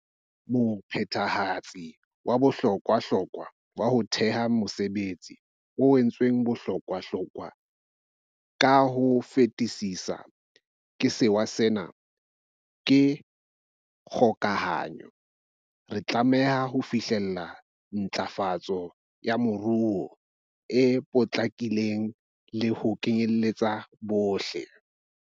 Mophethehatsi wa bohlokwahlokwa ho theha mesebetsi, o entsweng bohlokwahlokwa ka ho fetisisa ke sewa sena, ke kgokahanyo. Re tlameha ho fihlella ntlafa tso ya moruo e potlakileng le ho kenyeletsa bohle.